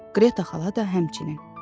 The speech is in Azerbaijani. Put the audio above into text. Qreta xala da həmçinin.